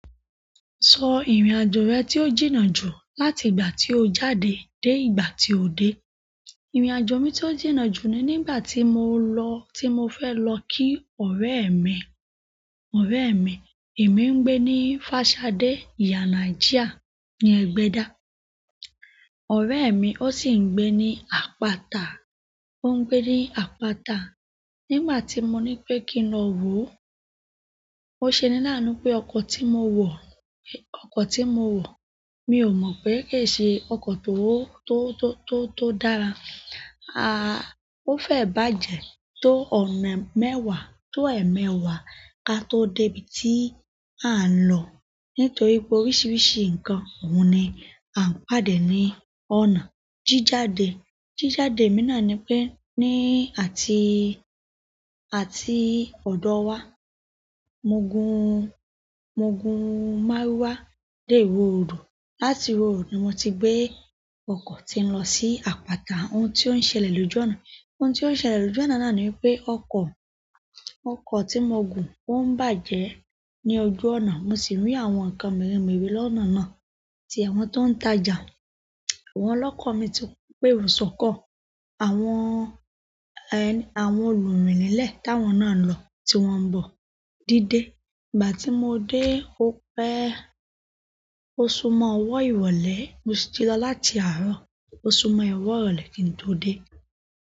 Sọ ìrìn-àjò rẹ tí ó jìnnà jù láti ìgbà tí o jáde dé ìgbà tí o dé. Ìrìn-àjò mi tí ó jìnnà jù ni nígbà tí mo lọ-- tí mo fẹ́ lọ kí ọ̀rẹ́ mi, ọ̀rẹ́ mi. Èmi ń gbé ní Fashade, ìyána Ajia, ní Egbeda. Ọ̀rẹ́ mi ó sì ń gbé ní apata, ó ń gbé ní apata. Nígbà tí mo ní pé kí n lọ wò ó, ó ṣe ni láàánú pé ọkọ̀ tí mo wọ, ọkọ̀ tí mo wọ mi ò mọ̀ pé ke ṣe ọkọ̀ tó, tó, tó, tó dára. À, ó fẹ́ bàjẹ́ tó ọ̀nà mẹ́wàá, tó ẹ̀mẹ́wàá ka tó dé ibi tí à ń lọ. Nítorí pé oríṣiríṣi nǹkan òun ni. A pàdé ní ọ̀nà. Jíjáde, jíjáde mi náà ni pé ní àti, àti ọ̀dọ̀ wa. Mo gun, mo gun márúwá dé ìwọ road. Láti ìwọ road ni mo ti gbé ọkọ̀ ti ń lọ sí apata. Ohun tí ó ń ṣẹlẹ̀ lójú ọ̀nà, ohun tí ó ń ṣẹlẹ̀ lójú ọ̀nà náà ni pé ọkọ̀, ọkọ̀ tí mo gùn ó ń bàjẹ́ ní ojú ọ̀nà. Mo sì rí àwọn nǹkan mere mere lọ́nà náà tí àwọn tó ń ta ọjà. Àwọn ọlọ́kọ̀ mi tun péero sọkọ́. Àwọn, ẹ́, àwọn olùrìnilẹ̀ táwọn náà lọ tí wọ́n ń bọ̀ díde. Ìgbà tí mo dé ó pẹ́, ó sumo ọwọ́ ìwọlé. Mo si ti lọ láti àárọ̀, ó sumo ọwọ́ ìrọ̀lẹ́ kí n tó dé.